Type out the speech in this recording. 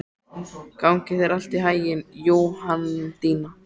Gangi þér allt í haginn, Jóhanndína.